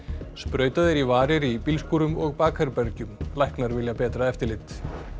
sprautað er í varir í bílskúrum og bakherbergjum læknar vilja betra eftirlit